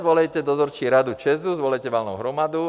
Svolejte dozorčí radu ČEZ, svolejte valnou hromadu.